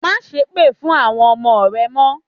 Másépè fún àwọn ọmọ rẹ mọ́.